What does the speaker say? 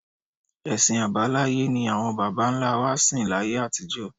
Ẹ̀sìn àbáláyé ni àwọn bàbá-ńlá wa sìn láyé àtijọ́